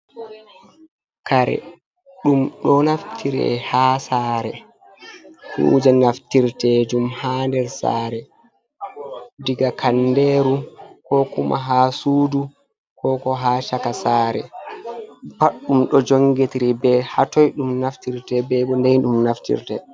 Kare, ɗum ɗo naftire haa saare, kuuje naftirtejum haa nder saare diga kandeeru koo kuma haa suudu koo k ha caka saare pat ɗum ɗo jonngetiri bee haa toy ɗum naftirte be bo ndey ɗum naftirte